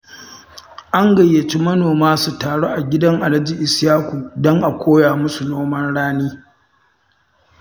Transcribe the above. An gayyaci manoma su taru a gidan Alhaji Isyaku don a koya musu noman rani